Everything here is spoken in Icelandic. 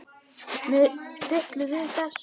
Mig hryllir við þessu.